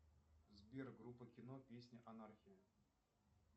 сбер группа кино песня анархия